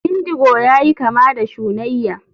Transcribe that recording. Indigo yayi kama da shunayya.